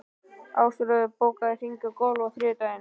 Ásröður, bókaðu hring í golf á þriðjudaginn.